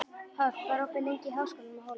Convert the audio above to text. Páll, hvað er opið lengi í Háskólanum á Hólum?